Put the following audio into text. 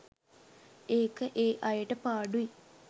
ඒක ඒ අයට පාඩුයි.